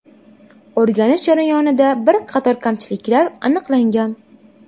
O‘rganish jarayonida bir qator kamchiliklar aniqlangan.